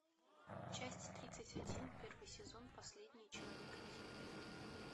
часть тридцать один первый сезон последний человек на земле